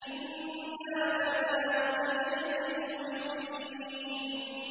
إِنَّا كَذَٰلِكَ نَجْزِي الْمُحْسِنِينَ